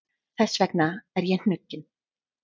Þess vegna er ég hnugginn.